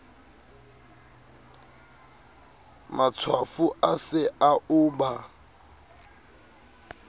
matshwafo a se a uba